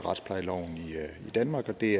det